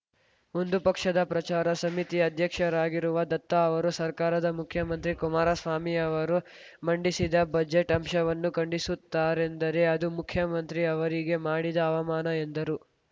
ಒಂದು ಪಕ್ಷದ ಪ್ರಚಾರ ಸಮಿತಿ ಅಧ್ಯಕ್ಷರಾಗಿರುವ ದತ್ತ ಅವರು ಸರ್ಕಾರದ ಮುಖ್ಯಮಂತ್ರಿ ಕುಮಾರಸ್ವಾಮಿ ಅವರು ಮಂಡಿಸಿದ ಬಜೆಟ್‌ ಅಂಶವನ್ನು ಖಂಡಿಸುತ್ತಾರೆಂದರೆ ಅದು ಮುಖ್ಯಮಂತ್ರಿ ಅವರಿಗೆ ಮಾಡಿದ ಅವಮಾನ ಎಂದರು